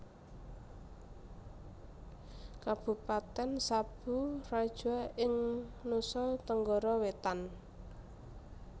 Kabupatèn Sabu Raijua ing Nusa Tenggara Wétan